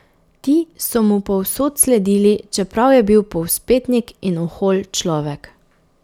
Ti so mu povsod sledili čeprav je bil povzpetnik in ohol človek.